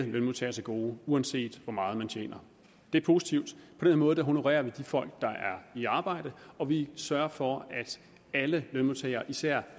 lønmodtagere til gode uanset hvor meget man tjener det er positivt på den måde honorerer vi de folk der er i arbejde og vi sørger for at alle lønmodtagere især